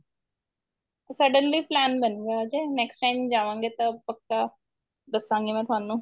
suddenly plain ਬਣ ਗਿਆ ਅਜੇ next time ਜਾਵਾਂ ਗੇ ਤਾਂ ਪਕਾ ਦੱਸਾਂਗੀ ਮੈਂ ਤੁਹਾਨੂੰ